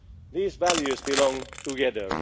membership. These values belong